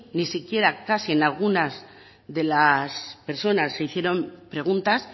ni siquiera casi en algunas de las personas se hicieron preguntas